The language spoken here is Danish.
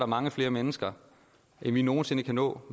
mange flere mennesker end vi nogen sinde kan nå